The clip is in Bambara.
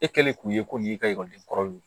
E kɛlen k'o ye ko nin y'i ka ekɔliden kɔrɔ ye